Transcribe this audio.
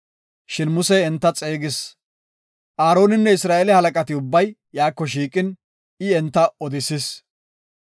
Shin Musey enta xeegis. Aaroninne Isra7eele halaqati ubbay iyako shiiqin, I enta odisis.